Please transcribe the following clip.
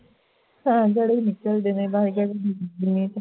ਤਾਂ ਗੜੇ ਨਿਕਲਦੇ ਨੇ